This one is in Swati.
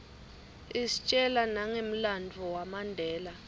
istjela nangemlanduvo wamandela